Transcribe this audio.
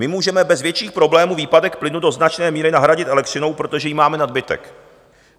My můžeme bez větších problémů výpadek plynu do značné míry nahradit elektřinou, protože jí máme nadbytek.